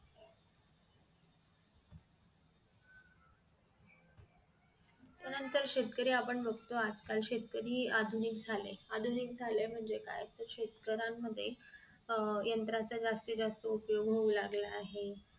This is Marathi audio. त्यानंतर शेतकरी आपण बघतो आजकाल शेतकरी आधुनिक झाले आधुनिक झाले म्हणजे काय तर शेतकऱ्यानं मध्ये अह यंत्र जास्तीत जास्त उपयोग होऊ लागला आहे